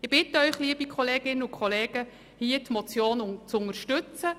Ich bitte Sie, die Motion zu unterstützen.